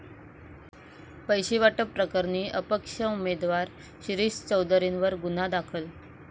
पैसे वाटप प्रकरणी अपक्ष उमेदवार शिरीष चौधरींवर गुन्हा दाखल